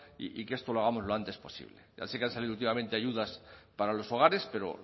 y que esto lo hagamos lo antes posible ya sé que han salido últimamente ayudas para los hogares pero